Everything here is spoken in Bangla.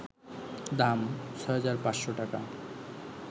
দাম: ৬,৫০০ টাকা